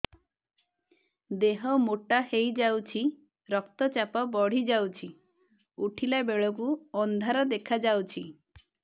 ଦେହ ମୋଟା ହେଇଯାଉଛି ରକ୍ତ ଚାପ ବଢ଼ି ଯାଉଛି ଉଠିଲା ବେଳକୁ ଅନ୍ଧାର ଦେଖା ଯାଉଛି